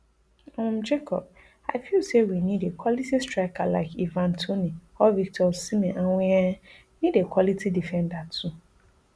um jacob i feel say we need a quality striker like ivan toney or victor osimhen and we um need a quality defender too